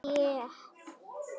Já, ég lofa